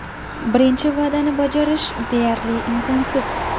Birinchi va’dani bajarish deyarli imkonsiz.